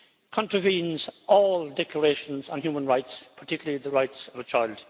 contravenes all declarations on human rights, and particularly the rights of a child.